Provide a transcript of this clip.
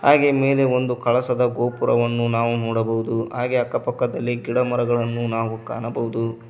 ಹಾಗೆ ಮೇಲೆ ಒಂದು ಕಳಸದ ಗೋಪುರವನ್ನು ನಾವು ನೋಡಬಹುದು ಹಾಗೆ ಅಕ್ಕಪಕ್ಕದಲ್ಲಿ ಗಿಡಮರಗಳನ್ನು ನಾವು ಕಾಣಬಹುದು.